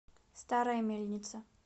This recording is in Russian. старая мельница